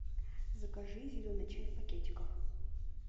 закажи зеленый чай в пакетиках